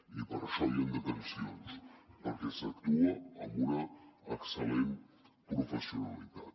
i per això hi han detencions perquè s’actua amb una excel·lent professionalitat